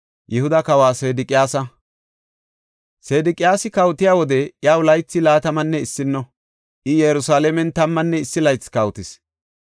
Sedeqiyaasi kawotiya wode iyaw laythi laatamanne issino; I Yerusalaamen tammanne issi laythi kawotis.